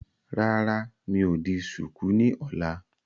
Rárá, mi ò di ṣùkú ni ọ̀la.